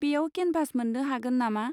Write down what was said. बेयाव केनभास मोन्नो हागोन नामा?